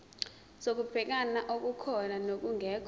zokubheka okukhona nokungekho